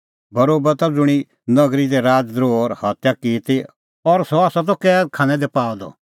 बरोबा त ज़ुंणी नगरी दी राज़ द्रोह और हत्या की ती और सह त कैद खानै दी पाअ द